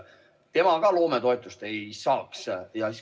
Tema ka loometoetust ei saaks.